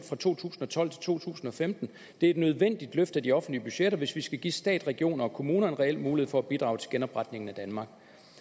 fra to tusind og tolv til to tusind og femten det er et nødvendigt løft af de offentlige budgetter hvis vi skal give stat regioner og kommuner en reel mulighed for at bidrage til genopretningen af danmark